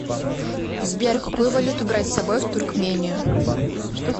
сбер какую валюту брать с собой в туркмению